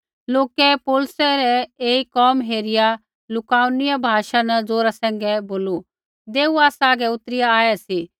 लोकै पौलुसै रै ऐई कोम हेरिआ लुकाउनिया भाषा न ज़ोरा सैंघै बोलू देऊ आसा आगै उतरिआ आऐ सी